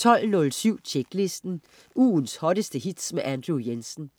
12.07 Tjeklisten. Ugens hotteste hits med Andrew Jensen